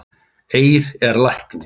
Eir er læknir